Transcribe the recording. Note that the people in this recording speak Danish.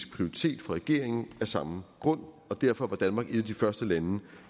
prioritet for regeringen af samme grund og derfor var danmark et af de første lande